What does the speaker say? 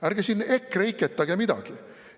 Ärge siin EKREIKE-tage midagi.